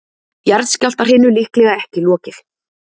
Jarðskjálftahrinu líklega ekki lokið